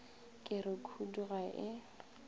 ke re khudu ga e